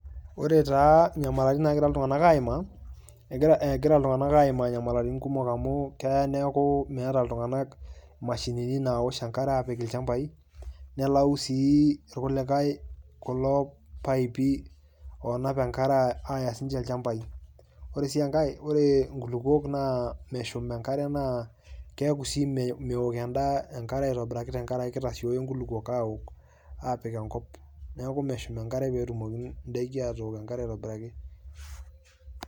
Ore taa nyamalaitin naagira iltung'anak aimaa, egira iltung'anak aimaa nyamalaitin kumok amu keya neaku meeta iltung'anak mashini nawoshe enkare apik ilchambai, nelau sii irkulikai kulo paipi onap enkare aya ilchambai. Oresii enkae, ore inkulukuok naa meshum enkare naa keeku sii meok endaa eng'are aitobiraki tenkaraki kitasioyo inkulukuok awok aapik enkop neeku meshum enkare peetumoki indaiki atumoki atook enkare aitobiraki.